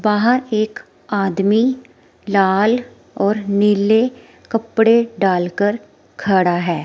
बाहर एक आदमी लाल और नीले कपड़े डालकर खड़ा है।